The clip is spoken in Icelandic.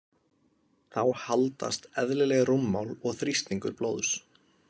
Þá haldast eðlileg rúmmál og þrýstingur blóðs.